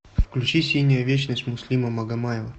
включи синяя вечность муслима магомаева